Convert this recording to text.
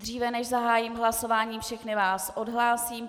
Dříve než zahájím hlasování, všechny vás odhlásím.